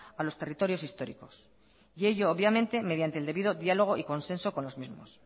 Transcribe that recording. a los territorios históricos y ello obviamente mediante el debido diálogo y consenso con los mismos